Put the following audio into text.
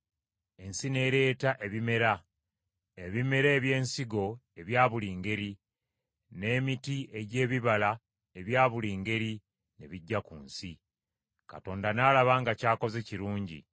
Ensi n’ereeta ebimera: ebimera eby’ensigo ebya buli ngeri, n’emiti egy’ebibala ebya buli ngeri n’ebijja ku nsi. Katonda n’alaba nga ky’akoze kirungi.